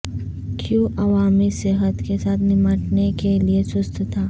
کیوں عوامی صحت کے ساتھ نمٹنے کے لئے سست تھا